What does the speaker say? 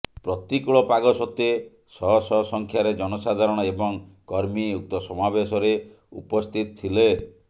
ପ୍ରତିକୂଳ ପାଗ ସତ୍ତ୍ୱେ ଶହ ଶହ ସଂଖ୍ୟାରେ ଜନସାଧାରଣ ଏବଂ କର୍ମୀ ଉକ୍ତ ସମାବେଶରେ ଉପସ୍ଥିତ ଥିଲେ